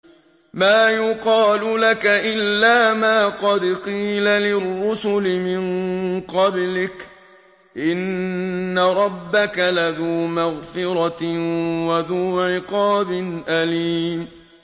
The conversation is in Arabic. مَّا يُقَالُ لَكَ إِلَّا مَا قَدْ قِيلَ لِلرُّسُلِ مِن قَبْلِكَ ۚ إِنَّ رَبَّكَ لَذُو مَغْفِرَةٍ وَذُو عِقَابٍ أَلِيمٍ